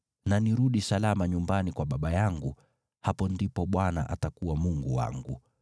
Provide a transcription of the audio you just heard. na nirudi salama nyumbani kwa baba yangu, hapo ndipo Bwana atakuwa Mungu wangu,